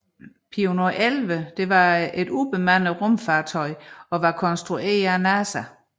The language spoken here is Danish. Pioneer 11 var et ubemandet rumfartøj konstrueret af NASA